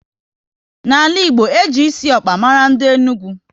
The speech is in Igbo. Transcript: N'ala Igbo, e ji esi ọkpa mara ndị Enugu